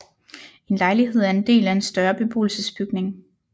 En lejlighed er en del af en større beboelsesbygning